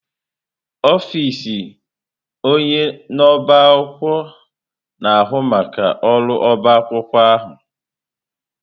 Ọfịs onye na-ọbá akwụkwọ na-ahụ maka ọrụ ọbá akwụkwọ ahụ.